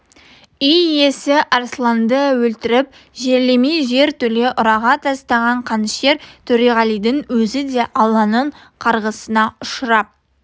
үй иесі арсланды өлтіріп жерлемей жер төле ұраға тастаған қанішер төреғалидың өзі де алланың қарғысына ұшырап